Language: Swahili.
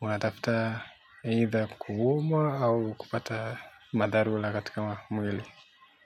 Unatafuta either kuumwa au kupata madharula katika mwili.